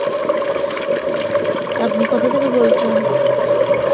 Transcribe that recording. আপনি কোথাথেকে বলছেন?